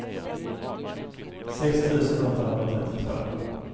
sex tusen åttahundratrettiotvå